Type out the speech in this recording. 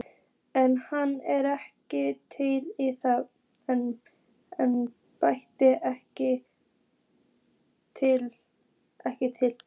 En hann er ekki til, það embætti er ekki til.